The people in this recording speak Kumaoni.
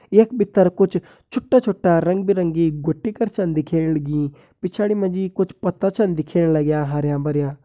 यख भित्तर कुछ छुटा-छुटा रंग-बिरंगी घुटी कर छन दिख्येण लगीं पिछाड़ी माजी कुछ पत्ता छन दिख्येण लाग्यां हरयां-भरयां।